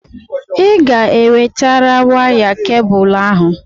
Ị ga-ewetara waya kebụlụ ahụ!